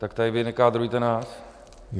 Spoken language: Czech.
Tak tady vy nekádrujte nás!